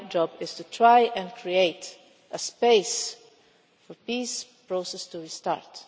My job is to try and create a space for the peace process to restart.